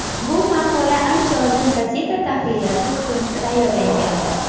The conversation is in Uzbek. Bu maqola ancha oldin gazeta tahririyati uchun tayyorlangandi.